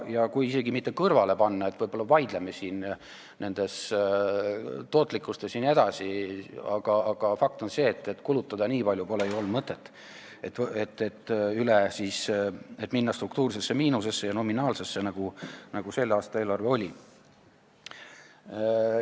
Ja kui isegi mitte kõrvale panna – võib-olla me vaidleme nende fondide tootlikkuse üle –, fakt on see, et pole mõtet olnud kulutada nii palju, et minna struktuursesse ja nominaalsesse miinusesse, nagu selle aasta eelarve oli.